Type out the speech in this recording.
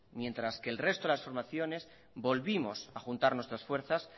mientras que el resto de las formaciones volvimos a juntar nuestras fuerzas